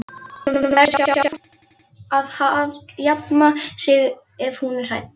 Hún verður sjálf að jafna sig ef hún er hrædd.